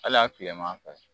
Ali a kilema fɛ